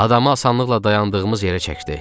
Adamı asanlıqla dayandığımız yerə çəkdi.